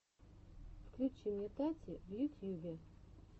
включи мне тати в ютьюбе